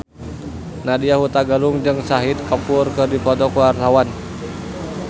Nadya Hutagalung jeung Shahid Kapoor keur dipoto ku wartawan